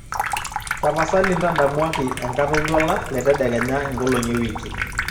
tapasali ntadamuaki enkata oltuala letedekenya ingolong'i ewiki